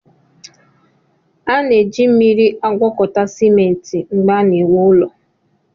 A na-eji mmiri agwọkọta simenti mgbe a na-ewu ụlọ